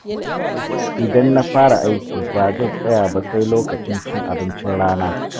Idan na fara aiki ba zan tsaya ba sai lokacin cin abincin rana